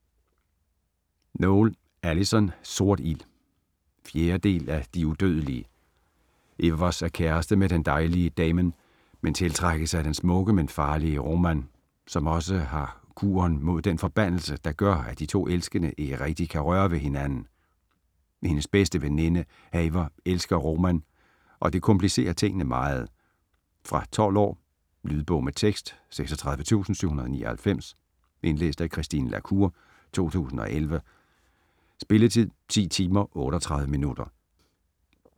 Noël, Alyson: Sort ild 4. del af De udødelige. Evers er kæreste med den dejlige Damen, men tiltrækkes af den smukke men farlige Roman, som også har kuren mod den forbandelse, der gør at de to elskende ikke rigtigt kan røre ved hinanden. Hendes bedste veninde Haver elsker Roman, og det komplicerer tingene meget. Fra 12 år. Lydbog med tekst 36799 Indlæst af Christine la Cour, 2011. Spilletid: 10 timer, 38 minutter.